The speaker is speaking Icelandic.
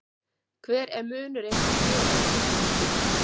Hver er munurinn á geri og lyftidufti?